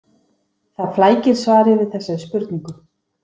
Það flækir svarið við þessari spurningu.